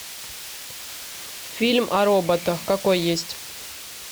фильм о роботах какой есть